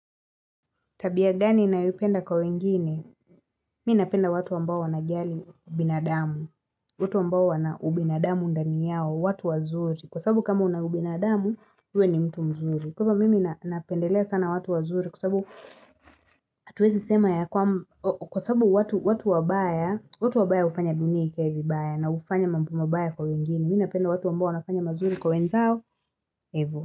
Tabia gani ninayopenda kwa wengine, mimi napenda watu ambao wanajali binadamu, watu ambao wanaubinadamu ndani yao, watu wazuri, kwa sababu kama una ubinadamu, wewe ni mtu mzuri. Kwa hivyo mimi napendelea sana watu wazuri, kwa sababu watu wabaya, watu wabaya hufanya dunia ikae vibaya, na ufanya mambo mabaya kwa wengine, mimi napenda watu ambao wanafanya mazuri kwa wenzao, hivo.